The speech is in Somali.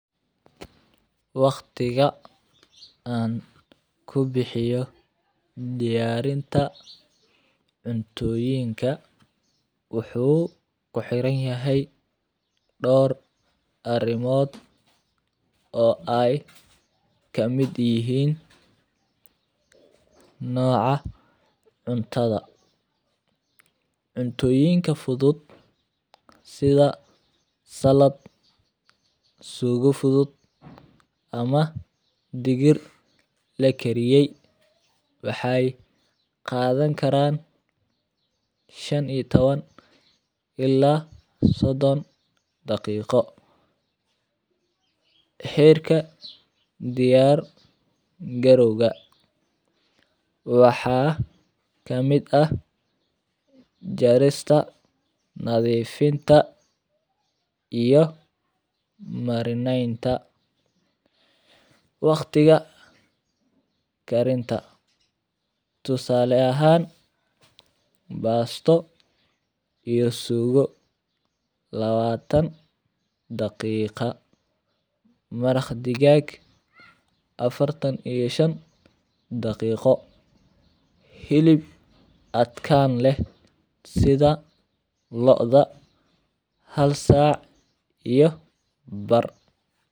Waqtiga an kubixiyo diyarinta cuntoyinka wuxuu kuxiran yahay dor arimod oo ee kamiid yihin magaca cuntadha, cuntoyinka fudud sitha salad sugo fudud ama digir lakariyeye waxee qadhan karan shan iyo tawan ila sidon daqiqo herka diyar garoga waxaa kamiid ah jarista nadhifinta iyo marmenta, waqtiga karinta tusale ahan basto iyo sugo lawatan daqiqa maraq digag afartan iyo shan daqiqo hilib adkan leh sitha lodha hal sac iyo bar.